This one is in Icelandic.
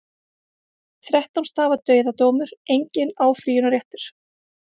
Þrettán stafa dauðadómur, enginn áfrýjunarréttur.